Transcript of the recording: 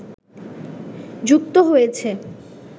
যুক্ত হয়েছে